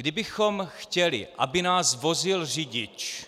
Kdybychom chtěli, aby nás vozil řidič,